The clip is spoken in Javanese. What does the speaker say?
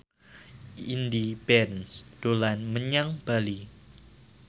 Indy Barens dolan menyang Bali